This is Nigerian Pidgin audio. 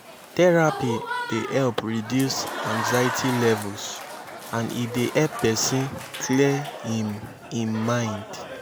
therapy dey help reduce anxiety levels and e dey help pesin clear im im mind